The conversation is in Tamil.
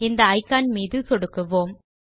இந்த இக்கான் மீது சொடுக்குவோம்